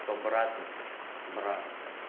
кто брат мне брат